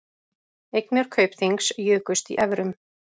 Eignir Kaupþings jukust í evrum